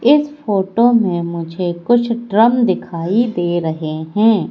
इस फोटो में मुझे कुछ ड्रम दिखाई दे रहे हैं।